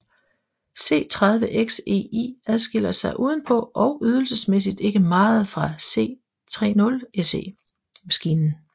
C30XEI adskiller sig udenpå og ydelsesmæssigt ikke meget fra C30SE maskinen